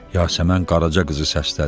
Yasəmən Qaraca qızı səslədi.